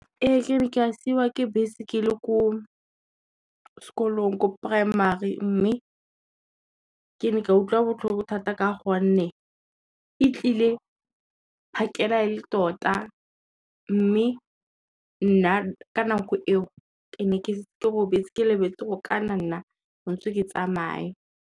Ee ke ne ke a siwa ke bese ke le ko sekolong ko primary mme, ke ne ka utlwa botlhoko thata ka gonne e tlile phakela e le tota mme, nna ka nako eo ke ne ke robetse ke lebetse gore ka na nna tshwanetse ke tsamaye.